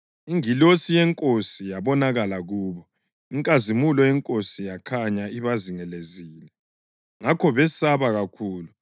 Ingilosi yeNkosi yabonakala kubo, inkazimulo yeNkosi yakhanya ibazingelezile, ngakho besaba kakhulu.